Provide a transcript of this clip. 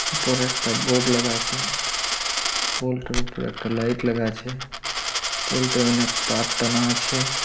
উপরে একটা বোর্ড লাগা আছে। পোল্ট এর উপর একটা লাইট লাগা আছে। পল্টে অনেক তার টানা আছে।